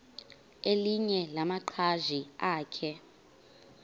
elinye lamaqhaji akhe